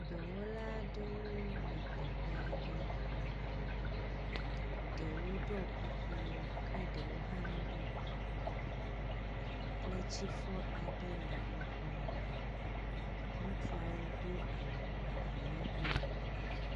dɔwɔla aɖewo le teƒe aɖe. Ɖewo ɖɔ kuku ke ɖewo hã meɖɔ kuku o. kletifɔ aɖe le wo gbɔ. Ŋutsuawo do awu abɔlegbewo.